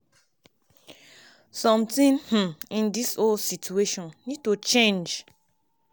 “somtin um um in dis whole situation need to change.